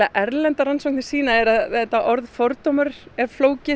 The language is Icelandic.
erlendar rannsóknir sýna er að þetta orð fordómar er flókið